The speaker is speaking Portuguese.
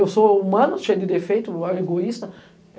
Eu sou humano, cheio de defeito, egoísta.